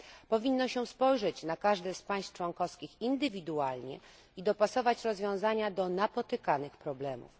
Powinno się spojrzeć na każde z państw członkowskich indywidualnie i dopasować rozwiązania do napotykanych problemów.